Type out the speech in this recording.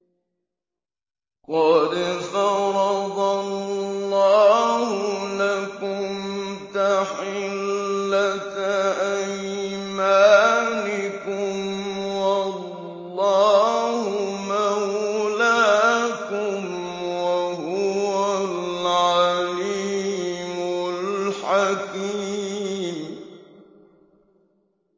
قَدْ فَرَضَ اللَّهُ لَكُمْ تَحِلَّةَ أَيْمَانِكُمْ ۚ وَاللَّهُ مَوْلَاكُمْ ۖ وَهُوَ الْعَلِيمُ الْحَكِيمُ